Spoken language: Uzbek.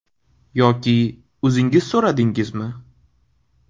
Yoki o‘zingiz so‘radingizmi?